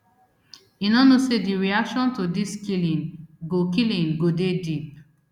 e no know say di reaction to dis killing go killing go dey deep